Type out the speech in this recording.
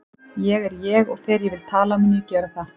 Ég er ég og þegar ég vil tala mun ég gera það.